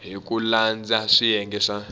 hi ku landza swiyenge swa